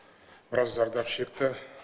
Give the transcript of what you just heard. біразы зардап шекті